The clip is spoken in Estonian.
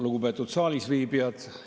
Lugupeetud saalis viibijad!